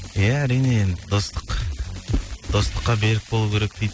иә әрине енді достық достыққа берік болу керек дейді